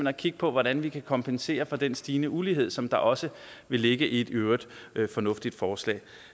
at kigge på hvordan vi kan kompensere for den stigende ulighed som der også vil ligge i et i øvrigt fornuftigt forslag